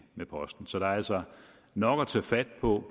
med posten så der er altså nok at tage fat på